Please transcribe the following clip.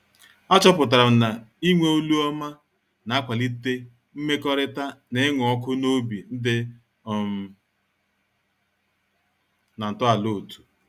A chọpụtara m na-ịnwe olu ọma na-akwalite mmekọrịta na ịṅụ ọkụ na obi dị um na ntọala otú.